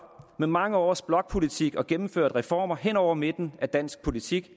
med mange års blokpolitik og gennemført reformer hen over midten af dansk politik